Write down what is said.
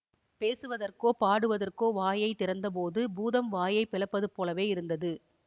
பேசுவதற்கோ பாடுவதற்கோ வாயை திறந்தபோது பூதம் வாயைப் பிளப்பதுபோலவே இருந்தது